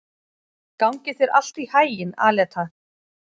Gangi þér allt í haginn, Aleta.